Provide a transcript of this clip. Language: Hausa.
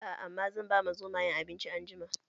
Aa, amma zan bama Zomayen abinci anjima